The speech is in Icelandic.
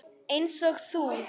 Einsog þú.